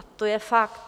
A to je fakt.